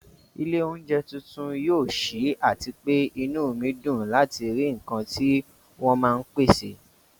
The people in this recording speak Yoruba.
ilé oúnjẹ tuntun yóò ṣí, àti pé inú mi dùn láti rí nǹkan tí wọ́n máa pèsè